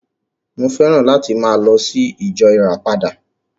Mo féràn láti máa lọ sí ìjọ ìràpadà